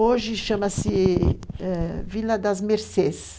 Hoje chama-se Vila das Mercês.